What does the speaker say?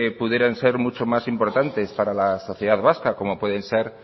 pudieran ser mucho más importantes para la sociedad vasca como puede ser